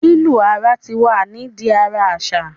lilu ara tí wá ni di a aṣa